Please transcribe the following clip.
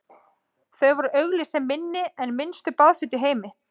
þau voru auglýst sem „minni en minnstu baðföt í heimi“